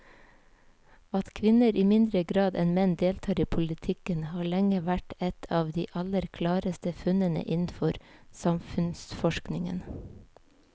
At kvinner i mindre grad enn menn deltar i politikken har lenge vært et av de aller klareste funnene innenfor samfunnsforskningen.